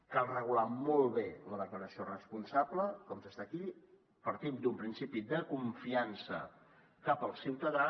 cal regular molt bé la declaració responsable com s’està aquí partim d’un principi de confiança cap al ciutadà